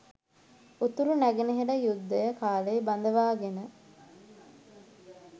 උතුරු නැගෙනහිර යුද්ධය කාලේ බඳවාගෙන